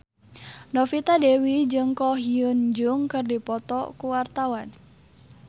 Novita Dewi jeung Ko Hyun Jung keur dipoto ku wartawan